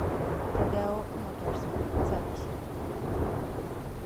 родео моторс запись